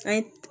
Fɛn